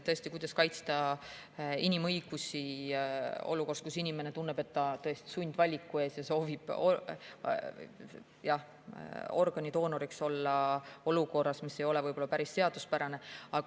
Tõesti, kuidas kaitsta inimõigusi olukorras, kus inimene tunneb, et ta on sundvaliku ees ja soovib organidoonoriks olla olukorras, mis ei ole võib-olla päris seaduspärane?